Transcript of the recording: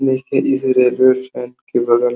देखिए इस railway track के बगल --